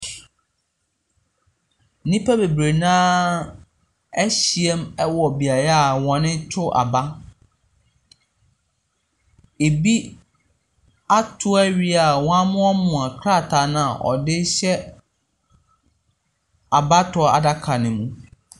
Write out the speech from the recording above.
Nnipa bebree no ara ahyia mu wɔ beaeɛ a wɔto aba. Ɛbi ato awie a wɔamoamoa krataa no a ɔde rehyɛ abatoɔ adaka no mu.